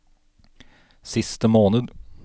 siste måned